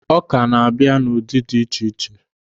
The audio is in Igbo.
Ọ́kà na-abịa n'ụdị dị iche iche.